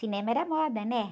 Cinema era moda, né?